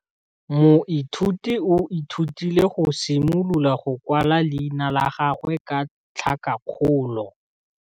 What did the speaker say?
Moithuti o ithutile go simolola go kwala leina la gagwe ka tlhakakgolo.